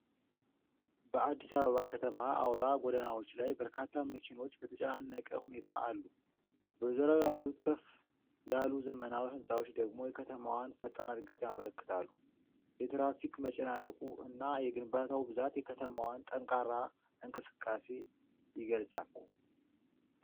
በአዲስ አበባ ከተማ አውራ ጎዳናዎች ላይ በርካታ መኪኖች በተጨናነቀ ሁኔታ አሉ። በዙሪያው ያሉት ከፍ ያሉ ዘመናዊ ሕንፃዎች ደግሞ የከተማዋን ፈጣን ዕድገት ያመለክታሉ። የትራፊክ መጨናነቁ እና የግንባታው ብዛት የከተማዋን ጠንካራ እንቅስቃሴ የገልጻል።